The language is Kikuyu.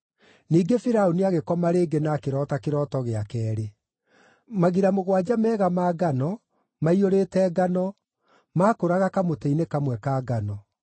Ningĩ Firaũni agĩkoma rĩngĩ na akĩroota kĩroto gĩa keerĩ: Magira mũgwanja mega ma ngano, maiyũrĩte ngano, maakũraga kamũtĩ-inĩ kamwe ka ngano.